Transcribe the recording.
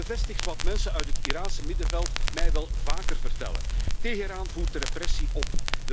Het bevestigt wat mensen uit het Iraanse middenveld mij wel vaker vertellen. Teheran voert de repressie op.